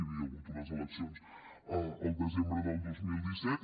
hi havia hagut unes eleccions el desembre del dos mil disset